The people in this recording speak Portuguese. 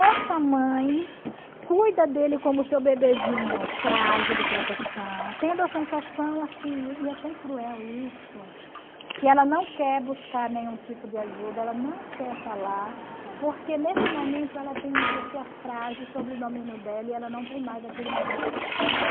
Essa mãe cuida dele como seu bebezinho frágil de proteção, tendo a sensação assim, e é tão cruel isso, que ela não quer buscar nenhum tipo de ajuda, ela não quer falar, porque nesse momento ela tem uma pessoa frágil sobre o domínio dela e ela não tem mais aquele menino que fracionou.